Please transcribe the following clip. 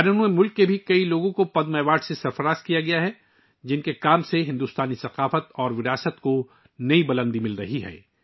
بیرون ملک سے بھی بہت سے لوگوں کو پدم ایوارڈ سے نوازا جا چکا ہے، جن کا کام بھارتی ثقافت اور ورثے کو نئی بلندیاں دے رہا ہے